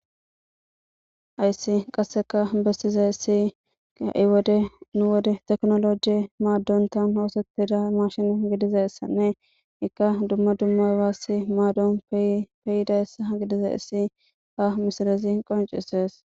Ayssi qasseka bessize issi kai wode nu wode teknoloji maaddontan hoosetida mashin gidize issanne ikka dumma dummabassi maadon peyida essa gidize issi ha misilezi qoncisees.